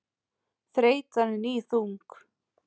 Þreytan er níðþung.